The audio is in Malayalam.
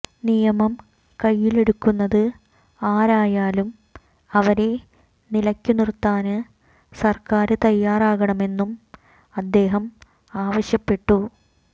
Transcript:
നിയമം കൈയിലെടുക്കുന്നത് ആരായാലും അവരെ നിലയ്ക്കുനിര്ത്താന് സര്ക്കാര് തയാറാകണമെന്നും അദ്ദേഹം ആവശ്യപ്പെട്ടു